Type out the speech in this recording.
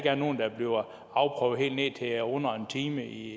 er nogen der bliver afprøvet helt ned til under en time i